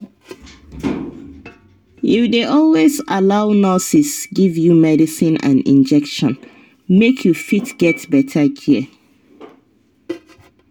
you dey always allow nurses give you medicine and injection make you fit get better care.